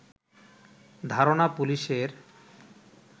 ধারণা পুলিশের